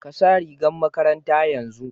Ka sa rigar makaranta yanzu!